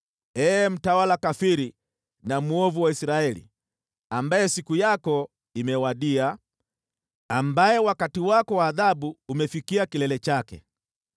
“ ‘Ee mtawala kafiri na mwovu wa Israeli, ambaye siku yako imewadia, ambaye wakati wako wa adhabu umefikia kilele chake,